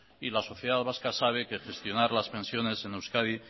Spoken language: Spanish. y la sociedad vasca sabe que gestionar las pensiones en euskadi